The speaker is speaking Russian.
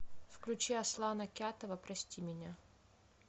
включи аслана кятова прости меня